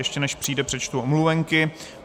Ještě než přijde, přečtu omluvenky.